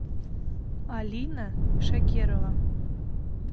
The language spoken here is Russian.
алина шакерова